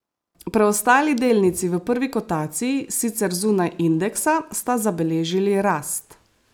Preostali delnici v prvi kotaciji, sicer zunaj indeksa, sta zabeležili rast.